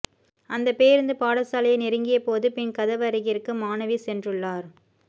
அந்த பேருந்து பாடசாலையை நெருங்கிய போது பின் கதவருகிற்கு மாணவி சென்றுள்ளார்